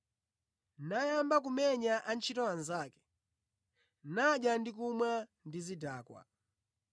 nayamba kumenya antchito anzake, nadya ndi kumwa ndi zidakwa.